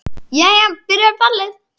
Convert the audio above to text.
Jæja. byrjar ballið!